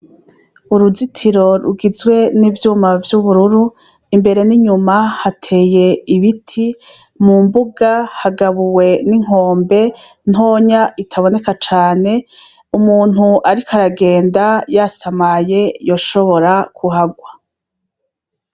Uruzitiro rugizwe n'ivyuma vy'ubururu imbere n'inyuma hateye ibiti mu mbuga hagabuwe n'inkombe ntonya itaboneka cane umuntu, ariko aragenda yasamaye yoshobora kuhagwa.